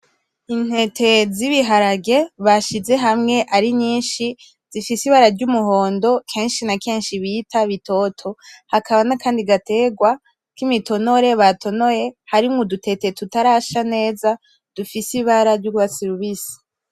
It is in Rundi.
Intete z'ibiharage bashize hamwe ari nyinshi zifise ibara ry'umuhondo kenshi na kenshi bita bitoto, hakaba nakandi gaterwa kimitonore batonoye harimwo udutete tutarasha neza dufise ibara ry'urwatsi rubisi.